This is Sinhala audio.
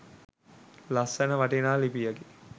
ලස්සන වටිනා ලිපියකි.